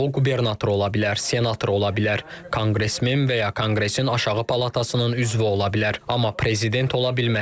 O qubernator ola bilər, senator ola bilər, konqresmen və ya konqresin aşağı palatasının üzvü ola bilər, amma prezident ola bilməz.